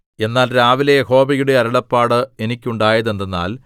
എന്നാൽ രാവിലെ യഹോവയുടെ അരുളപ്പാട് എനിക്കുണ്ടായതെന്തെന്നാൽ